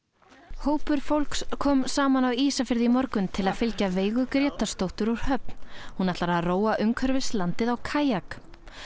hópur fólks kom saman á Ísafirði í morgun til að fylgja Veigu Grétarsdóttur úr höfn hún ætlar róa umhverfis landið á kajak